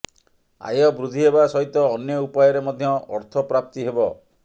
ଆୟ ବୃଦ୍ଧି ହେବା ସହିତ ଅନ୍ୟ ଉପାୟରେ ମଧ୍ୟ ଅର୍ଥପ୍ରାପ୍ତି ହେବ